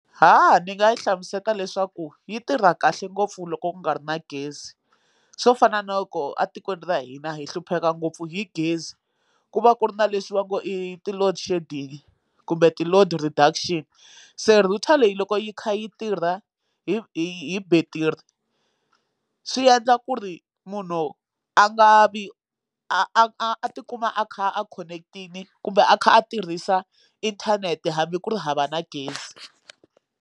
ni nga yi hlamuseta leswaku yi tirha kahle ngopfu loko ku nga ri na gezi swo fana na loko atikweni ra hina hi hlupheka ngopfu hi gezi ku va ku ri na leswi va ngo i ti loadshedding kumbe ti load reduction se router leyi loko yi kha yi tirha hi hi battery swi endla ku ri munhu a nga vi a tikuma a kha a connect-ini kumbe a kha a tirhisa inthanete hambi ku ri hava na gezi.